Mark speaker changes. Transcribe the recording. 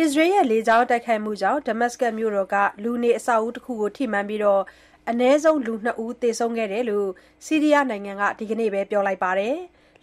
Speaker 1: အစ္စရေးရဲ့ လေကြောင်းတိုက်ခိုက်မှုကြောင့် ဒမတ်စကတ်မြို့တော်က လူနေအဆောက်အဦးတခုကို ထိမှန်ခဲ့ပြီး အနည်းဆုံး လူ ၂ ဦး သေဆုံးခဲ့ကြောင်း ဆီးရီးယားနိုင်ငံက ဒီကနေ့ပဲ ပြောလိုက်ပါတယ်။